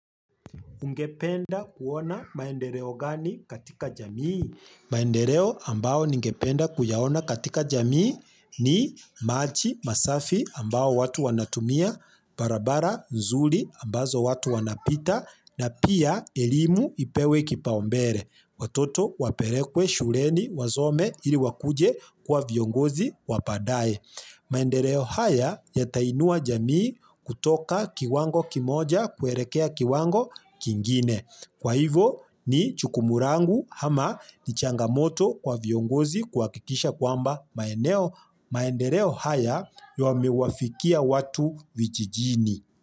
Ungependa kuona maendeeo gani katika jamii? Maendeleo ambayo ningependa kuyaona katika jamii ni maji, masafi ambayo watu wanatumia, barabara, nzuri ambazo watu wanapita, na pia elimu ipewe kipaumbele. Watoto wapelekwe shuleni, wasome ili wakuje kuwa viongozi wa baadaye. Maendeleo haya yatainua jamii kutoka kiwango kimoja kuelekea kiwango kingine. Kwa hivo ni jukumu langu ama ni changamoto kwa viongozi kuhakikisha kwamba maendeleo haya yamewafikia watu vijijini.